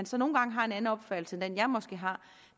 så nogle gange har en anden opfattelse end den jeg måske har